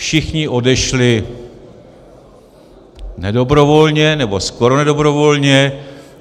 Všichni odešli nedobrovolně, nebo skoro nedobrovolně.